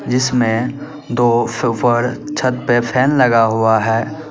जिसमें दो सुपर छत पे फैन लगा हुआ है।